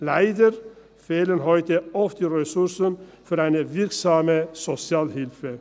Leider fehlen heute oft die Ressourcen für eine wirksame Sozialhilfe.